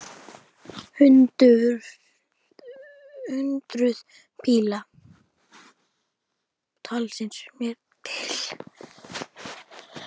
Hundruð bíla, taldist mér til!